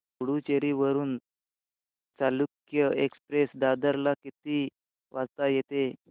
पुडूचेरी वरून चालुक्य एक्सप्रेस दादर ला किती वाजता येते